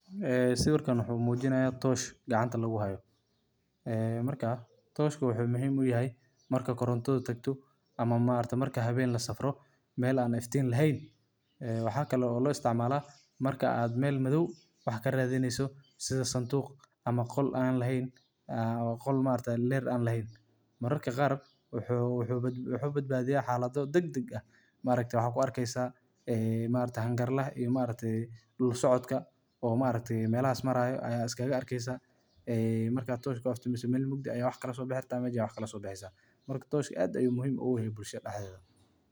waa qalab muhiim ah oo loo isticmaalo in lagu bixiyo iftiin meelaha mugdiga ah ama habeenkii, gaar ahaan marka aan la heli karin koronto ama il kale oo iftiin ah. Shandadani waxay ka samaysan tahay bir ama alwaax adag, dhexdeedana waxaa lagu shubaa walxo dab shidan oo si tartiib ah u gubta, sida saliid, dufan, ama suuf ku dul shubmay saliid.